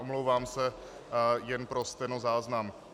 Omlouvám se, jen pro stenozáznam.